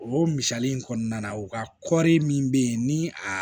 O misali in kɔnɔna na u ka kɔɔri min bɛ yen ni a